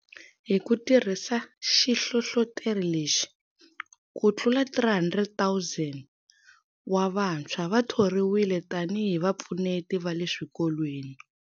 Hi ku tirhisa xihlohloteri lexi, kutlula 300 000 wa vantshwa va thoriwile tanihi vapfuneti va le swikolweni.